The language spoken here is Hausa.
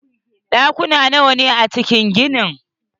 Ɗakuna nawa ne a cikin ginin?